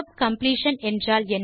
tab completion என்றால் என்ன